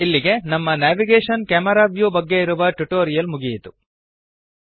ಇಲ್ಲಿಗೆ ನಮ್ಮ navigation - camera view ಬಗ್ಗೆ ಇರುವ ಟ್ಯುಟೋರಿಯಲ್ ಮುಗಿಯಿತು